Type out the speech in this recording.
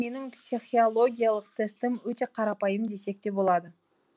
менің психиологиялық тестім өте қарапайым десек те болады